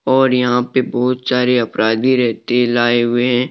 और यहां पे बहुत सारे अपराधी रहते लाए हुए हैं।